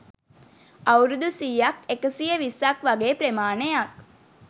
අවුරුදු සියක් එකසිය විස්සක් වගේ ප්‍රමාණයක්.